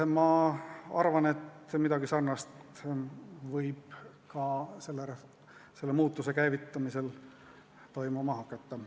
Ma arvan, et midagi sarnast võib ka selle muutuse käivitamisel toimuma hakata.